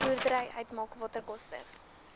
boerdery uitmaak waterkoste